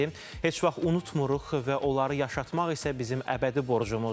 Heç vaxt unutmuruq və onları yaşatmaq isə bizim əbədi borcumuzdur.